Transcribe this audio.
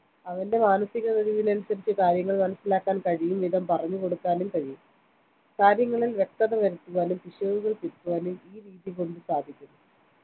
അവന്റെ മാനസിക കഴിവിനനുസരിച്ച് കാര്യങ്ങൾ മനസ്സിലാക്കാൻ കഴിയുംവിധം പറഞ്ഞു കൊടുക്കാനും കഴിയും കാര്യങ്ങളിൽ വ്യക്തത വരുത്തുവാനും പിശകുകൾ തിരുത്തുവാനും ഈ രീതികൊണ്ടു സാധിക്കുന്ന